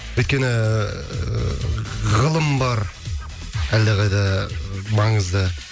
өйткені ыыы ғылым бар әлдеқайда ы маңызды